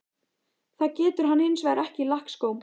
Það getur hann hins vegar ekki í lakkskóm.